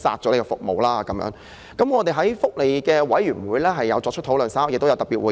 我們已在福利事務委員會會議上作出討論，稍後亦會召開特別會議。